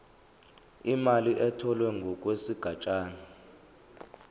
imali etholwe ngokwesigatshana